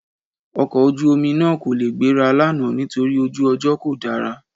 Ọkọ̀ ojú-omi náà kò lè gbéra lánàá nítorí ojú ọjọ́ kò dára